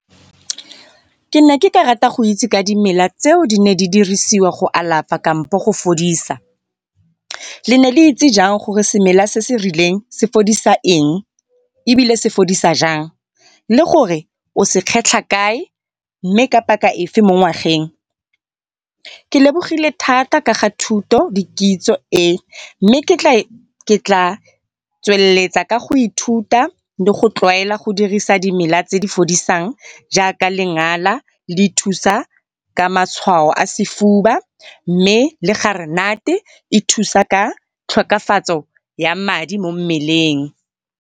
Ke ne ke ka rata go itse ka dimela tseo di neng di dirisiwa go alafa kampo go fodisa. Lene le itse jang gore semela se se rileng se fodisa eng, ebile se fodisa jang le gore o se kgetlha kae mme ka paka efe mo ngwageng? Ke lebogile thata ka thuto le kitso e, mme ke tla tsweletsa ka go ithuta le go tlwaela go dirisa dimela tse di fodisang jaaka lengana le thusa ka matshwao a sefuba, mme le garenate e thusa ka tlhokafatso ya madi mo mmeleng.